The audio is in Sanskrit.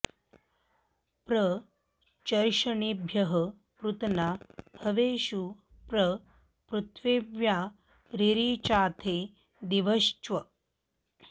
प्र च॑र्ष॒णिभ्यः॑ पृतना॒ हवे॑षु॒ प्र पृ॑थि॒व्या रि॑रिचाथे दि॒वश्च॑